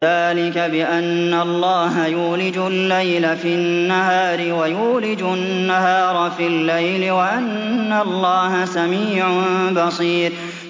ذَٰلِكَ بِأَنَّ اللَّهَ يُولِجُ اللَّيْلَ فِي النَّهَارِ وَيُولِجُ النَّهَارَ فِي اللَّيْلِ وَأَنَّ اللَّهَ سَمِيعٌ بَصِيرٌ